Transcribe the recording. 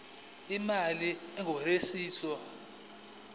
imali engur ikhishwa